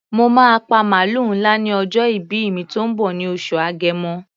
Mo máa pa màlúù ńlá ní ọjọ́ ìbí mi tó ń bọ̀ ní oṣù Agẹmọ.